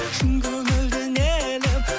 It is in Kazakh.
шын көңілден елім